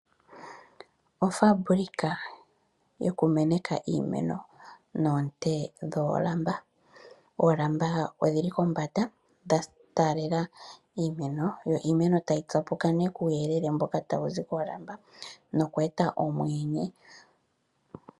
Ofaambulika yokumeneka iimeno noonte dhoolamba. Oolamba odhili kombanda dhataalela iimeno, yo iimeno tayi kapuka nee kuuyele mboka tawuzi koolamba nokweeta omweenye.